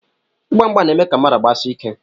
Ịgba mgba na-eme ka mmadụ gbasie ike